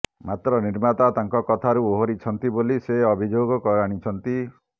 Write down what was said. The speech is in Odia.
ମାତ୍ର ନିର୍ମାତା ତାଙ୍କ କଥାରୁ ଓହରିଛନ୍ତି ବୋଲି ସେ ଅଭିଯୋଗ ଆଣିଛନ୍ତି